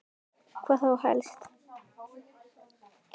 Hvað þá helst?